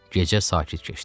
Gecə sakit keçdi.